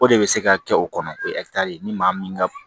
O de bɛ se ka kɛ o kɔnɔ o ye ni maa min ka